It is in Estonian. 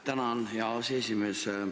Tänan, hea aseesimees!